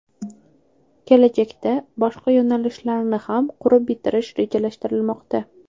Kelajakda boshqa yo‘nalishlarni ham qurib bitirish rejalashtirilmoqda.